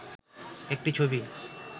একটি ছবি